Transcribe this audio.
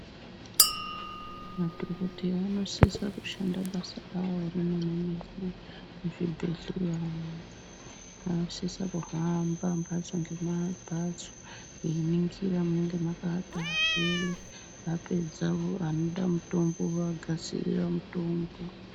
madhokoteya anosisa kushanda basa ravo remene-mene muzvibhedhleya umu. Vanosisa kuhamba mbatso nembatso einingira munenge makaata arwere vapedza vanoda mutombo vovagadzirira mutombo.